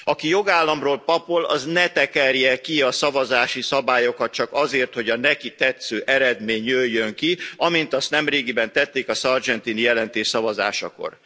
Aki jogállamról papol, az ne tekerje ki a szavazási szabályokat csak azért, hogy a neki tetsző eredmény jöjjön ki, amint azt nemrégiben tették a Sargentini jelentés szavazásakor.